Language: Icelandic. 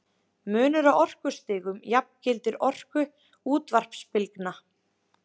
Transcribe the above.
Munurinn á orkustigum jafngildir orku útvarpsbylgna.